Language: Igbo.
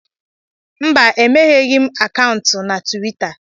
Mba, emegheghị m akaụntụ na Tuwita